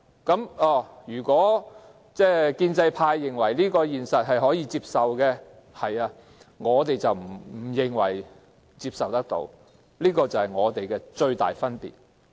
建制派認為可以接受這個現實，但我們卻認為不能接受，這便是我們之間的最大分歧。